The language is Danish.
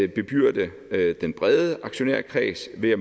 bebyrde den brede aktionærkreds ved at